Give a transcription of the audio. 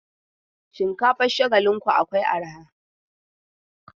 Shinkafan Shagalinku akwai arha.